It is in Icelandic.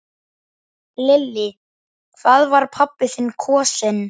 Lillý: Hvað var pabbi þinn kosinn?